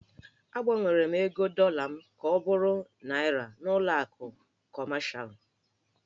Agbanwere m ego dọla m ka ọ bụrụ Naịra n'ụlọ akụ kọmashalụ.